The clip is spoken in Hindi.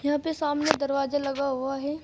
यहां पे सामने दरवाजा लगा हुआ है।